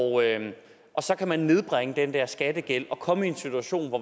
så kan man nedbringe den der skattegæld og komme i en situation hvor